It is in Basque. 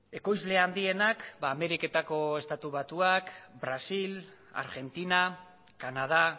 ekoizle handienak ameriketako estatu batuak brasil argentina kanada